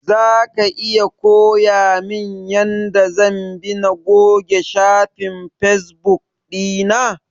Zaka iya koyamin yanda zan bi na goge shafin fesbuk ɗina?